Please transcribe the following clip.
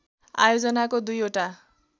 आयोजनाको दुई ओटा